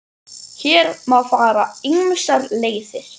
Hér má fara ýmsar leiðir.